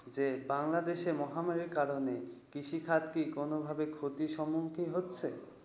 যে, বাংলাদেশে মহামারীর কারণে কৃষিখাত কি কোনও ভাবে ক্ষতির সম্মুখীন হচ্ছে?